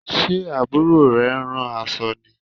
Ṣe Àbúrò rẹ ń rán aṣọ ni?